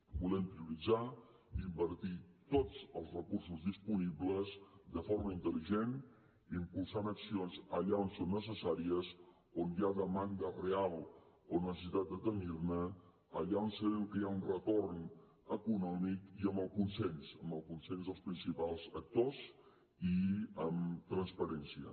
volem prioritzar i invertir tots els recursos disponibles de forma intel·ligent impulsant accions allà on són necessàries on hi ha demanda real o necessitat de tenir ne allà on sabem que hi ha un retorn econòmic i amb el consens amb el consens dels principals actors i amb transparència